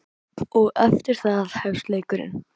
Og eftir það hefst leikurinn.